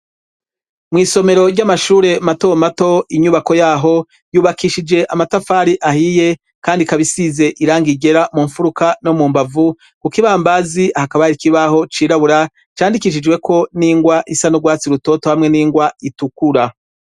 Mw'somero ry'amashure mato mato inyubako yaho, yubakishije amatafari ahiye, kandi ikaba isize irangi ryera mu mfuruka no mu mbavu, ku k'ibambazi hakaba hari ikibaho cirabura, candikishijweko n'ingwa isa n'urwatsi rutoto hamwe n'ingwa itukura.